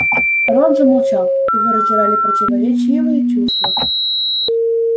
рон замолчал его раздирали противоречивые чувства